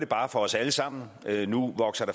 bare for os alle sammen at nu voksede